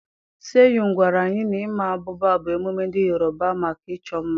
Seyun gwara anyị na ịma abụba bụ emume ndị Yorùbá maka ịchọ mma.